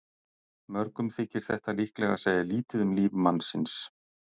Mörgum þykir þetta líklega segja lítið um líf mannsins.